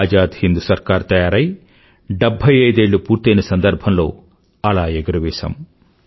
ఆజాద్ హింద్ సర్కార్ తయారై 75ఏళ్ళు పూర్తైన సందర్భంలో అలా ఎగురవేశాము